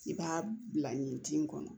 I b'a bila yen tin kɔnɔ